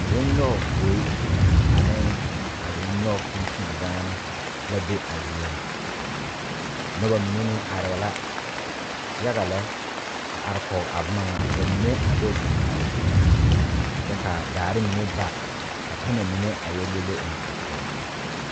Zɔge nyoŋ gbeɛ ane zɔge nyoŋ tuntundaana la be a zie ŋa noba mine meŋ are la yaga lɛ a are kɔge a boma ŋa ka ba mine a do zeŋ a zu kyɛ kaa daare mine ba ka pemɛ mine a yɛ le le eŋ a poɔ.